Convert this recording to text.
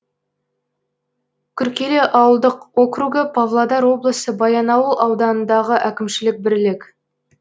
күркелі ауылдық округі павлодар облысы баянауыл ауданындағы әкімшілік бірлік